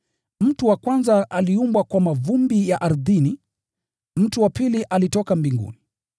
Mtu wa kwanza aliumbwa kwa mavumbi ya ardhini, mtu wa pili alitoka mbinguni.